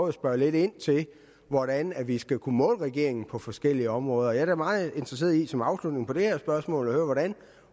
at spørge lidt ind til hvordan vi skal kunne måle regeringen på forskellige områder jeg er meget interesseret i som afslutning på det her spørgsmål at høre hvordan